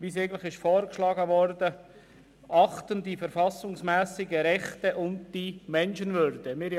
] achten die Menschenwürde und die verfassungsmässigen Rechte.», wie vorgeschlagen worden war.